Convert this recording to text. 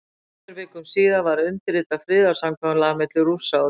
Tveimur vikum síðar var undirritað friðarsamkomulag milli Rússa og Þjóðverja.